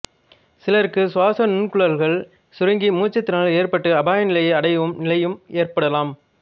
சிலருக்கு சுவாசநுண்குழல்கள் சுருங்கி மூச்சுத்திணறல் ஏற்பட்டு அபாயநிலையை அடையும் நிலையும் ஏற்படலாம்